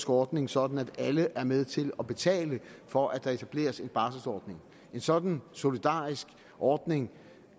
ordning sådan at alle er med til at betale for at der etableres en barselordning en sådan solidarisk ordning